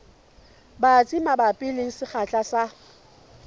batsi mabapi le sekgahla sa